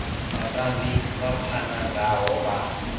vhatambi vha pfana ngaho vha